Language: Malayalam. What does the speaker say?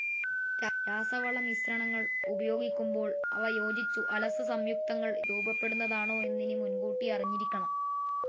രാസവള മിശ്രണങ്ങൾ ഉപയോഗിക്കുമ്പോൾ അവ യോജിച്ചു അലസ സംയുക്തങ്ങൾ രൂപപ്പെടുന്നതാണോ എന്നിനി മുൻകൂട്ടി അറിഞ്ഞിരിക്കണം.